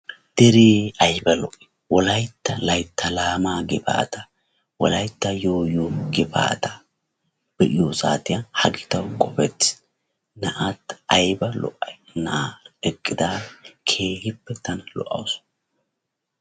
deeree ayba lo'ii! wollaytta laytta laamaa gifataa wolaytta yoyoo gifata be'iyoo saatiyan ha giddon qofetiis naati ayba lo'ayii! naa'ara eqiidara keehippe tana lo'awusu.